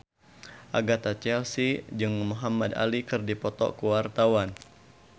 Agatha Chelsea jeung Muhamad Ali keur dipoto ku wartawan